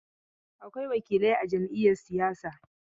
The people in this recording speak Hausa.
Akwai wakilai a jam'iyar siyasa.